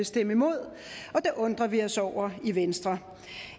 stemme imod og det undrer vi os over i venstre